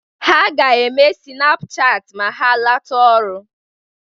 Ha ga-eme sịnaapụ chaatị ma ha lọta ọrụ.